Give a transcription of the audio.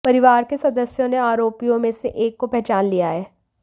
परिवार के सदस्यों ने आरोपियों में से एक को पहचान लिया है